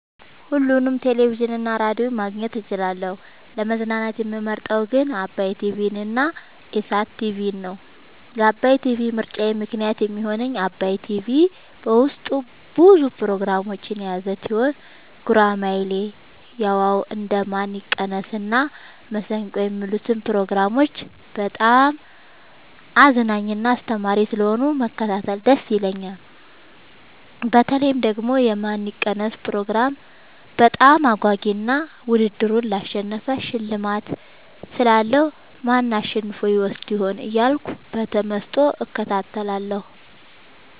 ሁሉንም ቴሌቪዥን እና ሬዲዮ ማግኘት እችላለሁ: : ለመዝናናት የምመርጠዉ ግን ዓባይ ቲቪንና ኢሣት ቲቪን ነዉ። ለዓባይ ቲቪ ምርጫየ ምክንያት የሚሆነኝ ዓባይ ቲቪ በዉስጡ ብዙ ፕሮግራሞችን የያዘ ቲሆን ጉራማይሌ የዋ ዉ እንዴ ማን ይቀነስ እና መሠንቆ የሚሉትን ፕሮግራሞች በጣም አዝናኝና አስተማሪ ስለሆኑ መከታተል ደስ ይለኛል። በተለይ ደግሞ የማን ይቀነስ ፕሮግራም በጣም አጓጊ እና ዉድድሩን ላሸነፈ ሽልማት ስላለዉ ማን አሸንፎ ይወስድ ይሆን እያልኩ በተመስጦ እከታተላለሁ።